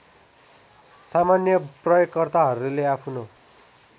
सामान्य प्रयोगकर्ताहरूले आफ्नो